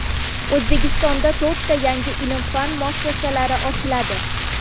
O‘zbekistonda to‘rtta yangi ilm-fan muassasalari ochiladi.